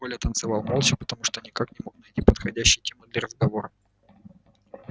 коля танцевал молча потому что никак не мог найти подходящей темы для разговора